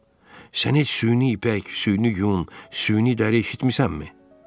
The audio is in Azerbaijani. Qızım, sən heç süni ipək, süni yun, süni dəri eşitmisənmi?